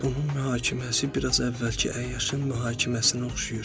Bunun mühakiməsi biraz əvvəlki əyyaşın mühakiməsinə oxşayır.